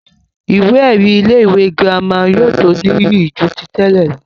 ìwé ẹ̀rí ilé ìwé girama yóò tó níyì jù tẹ́lẹ̀ lọ